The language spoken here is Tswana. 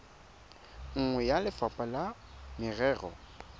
nngwe ya lefapha la merero